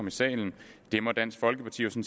i salen det må dansk folkeparti jo